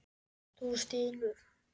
Þú stynur.